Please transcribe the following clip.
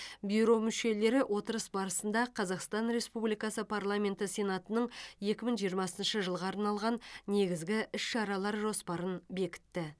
бюро мүшелері отырыс барысында қазақстан республикасы парламенті сенатының екі мың жиырмасыншы жылға арналған негізгі іс шаралар жоспарын бекітті